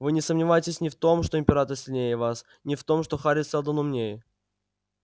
вы не сомневайтесь ни в том что император сильнее вас ни в том что хари сэлдон умнее